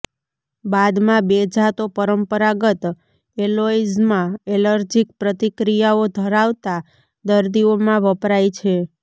બાદમાં બે જાતો પરંપરાગત એલોય્ઝમાં એલર્જીક પ્રતિક્રિયાઓ ધરાવતા દર્દીઓમાં વપરાય છે